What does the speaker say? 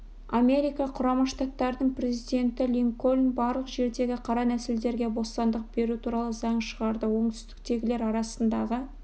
америка құрама штаттарының президенті линкольн барлық жердегі қара нәсілділерге бостандық беру туралы заң шығарды оңтүстіктегілер арасындағы